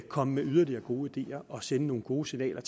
komme med yderligere gode ideer og sende nogle gode signaler